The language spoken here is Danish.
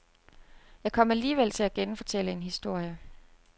Jeg kom alligevel til at genfortælle en historie.